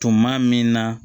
Tuma min na